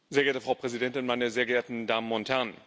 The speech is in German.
Frau Präsidentin, meine sehr geehrten Damen und Herren!